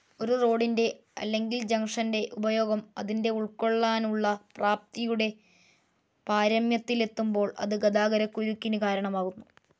ഒരു റോഡിൻറെ അല്ലെകിൽ ജംഗ്ഷൻ്റെ ഉപയോഗം അതിൻ്റെ ഉൾക്കൊള്ളാനുള്ള പ്രാപ്തിയുടെ പാരമ്യത്തിലെത്തുബോൾ അത് ഗതാഗതക്കുരുക്കിന് കാരണമാകുന്നു.